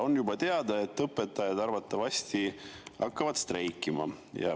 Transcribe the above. On juba teada, et õpetajad hakkavad arvatavasti streikima.